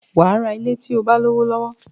Wàá ra ilẹ̀ tí o bá lówó lọ́wọ́